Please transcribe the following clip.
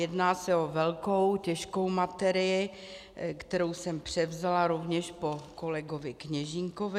Jedná se o velkou těžkou materii, kterou jsem převzala rovněž po kolegovi Kněžínkovi.